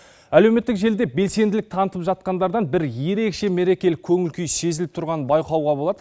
әлеуметтік желіде белсенділік танытып жатқандардан бір ерекше мерекелік көңіл күй сезіліп тұрғаны байқауға болады